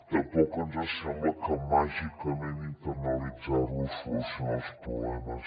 tampoc ens sembla que màgicament internalitzar lo solucioni els problemes